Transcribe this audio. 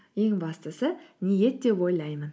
ең бастысы ниет деп ойлаймын